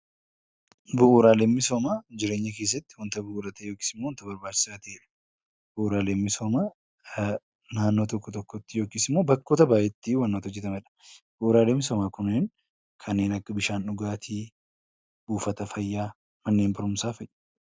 Bu'uuraaleen misoomaa jireenya keessatti wanta bu'uura ta'e wanta barbaachisaa ta'ee fi naannoo tokkotti yookaan bakka baayeetti kan hojjatamanidha. Bu'uuraaleen misoomaa kanneen akka bishaan dhugaatii, buufata fayyaa , manneen barumsaa fi kan kana fakkaatan